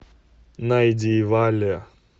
найди валли